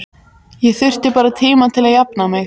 Ég þurfti bara tíma til að jafna mig.